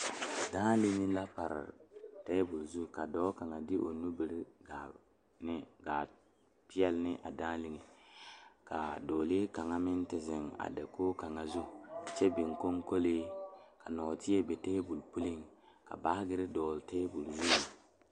Dãã linni la pare tabol zu ka dɔɔ kaŋa de o nubiri gaa ne a peɛle ne a dãã liŋe ka dɔɔlee kaŋa meŋ te zeŋ a dakogi kaŋa zu kyɛ biŋ konkolee ka nɔɔteɛ be tabol puliŋ ka baagere dɔgle tabol zu.